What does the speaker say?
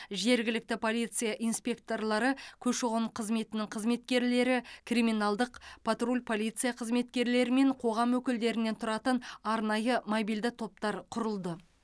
жергілікті полиция инспекторлары көші қон қызметінің қызметкерлері криминалдық патруль полиция қызметкерлері мен қоғам өкілдерінен тұратын арнайы мобильді топтар құрылды